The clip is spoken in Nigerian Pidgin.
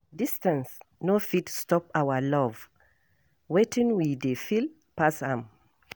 Distance no fit stop our love, wetin we dey feel pass am